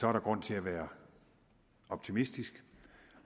er der grund til at være optimistisk